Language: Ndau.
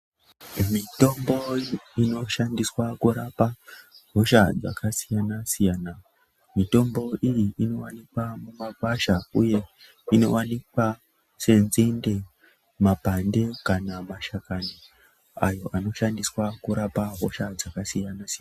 Mitombo inoshandiswa kurapa hosha dzakasiyana siyana mitombo iyi inowanikwa mumakwasha uye mitombo iyi inowanikwa senzinde makwande kana mashakani ayo anoshandiswa kurapa hosha dzakasiyana siyana.